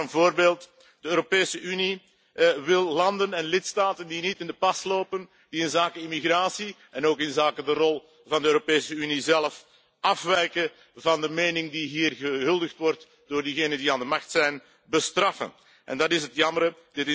Het is maar een voorbeeld. De Europese Unie wil landen en lidstaten die niet in de pas lopen, die inzake immigratie en ook inzake de rol van de Europese Unie zelf afwijken van de mening die hier gehuldigd wordt door diegenen die aan de macht zijn bestraffen en dat is het jammere.